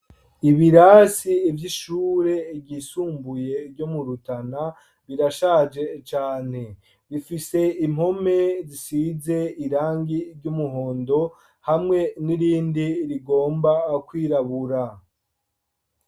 Ibirasi vy' ishure ryisumbure ryo mu Rutana, rirashaje cane. Rifise impome zisize irangi ry' umuhondo, hamwe n' irindi rigomba kwirabura.